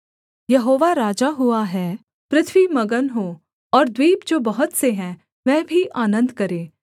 यहोवा राजा हुआ है पृथ्वी मगन हो और द्वीप जो बहुत से हैं वह भी आनन्द करें